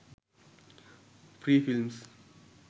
free films